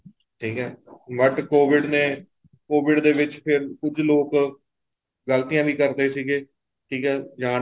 ਠੀਕ ਏ but COVID ਨੇ COVID ਦੇ ਵਿੱਚ ਕੁੱਝ ਲੋਕ ਗ਼ਲਤੀਆਂ ਵੀ ਕਰਦੇ ਸੀਗੇ ਠੀਕ ਏ ਜਾਣ